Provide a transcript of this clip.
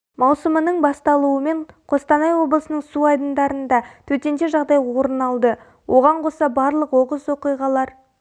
маусымының басталуымен қостанай облысының су айдындарында төтенше жағдай орын алды оған қоса барлық оқыс оқиғалар